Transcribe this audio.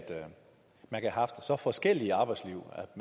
man kan have haft så forskellige arbejdsliv at